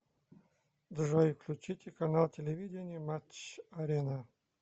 джой включите канал телевидения матч арена